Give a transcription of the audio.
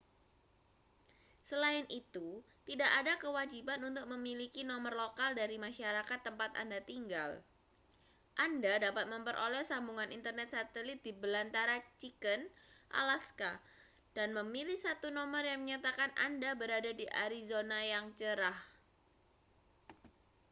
selain itu tidak ada kewajiban untuk memiliki nomor lokal dari masyarakat tempat anda tinggal anda dapat memperoleh sambungan internet satelit di belantara chicken alaska dan memilih satu nomor yang menyatakan anda berada di arizona yang cerah